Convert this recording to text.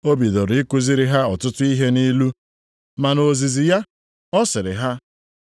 O bidoro i kuziri ha ọtụtụ ihe nʼilu, ma nʼozizi ya, ọ sịrị ha,